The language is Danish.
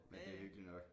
Men det hyggeligt nok